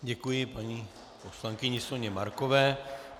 Děkuji paní poslankyni Soně Markové.